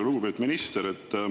Lugupeetud minister!